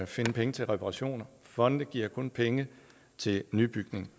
finde penge til reparationer fonde giver kun penge til nybygning